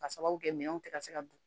Ka sababu kɛ minɛnw tɛ ka se ka don